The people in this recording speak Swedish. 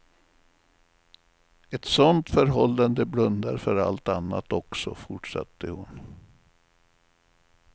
Ett sånt förhållande blundar för allt annat också, fortsatte hon.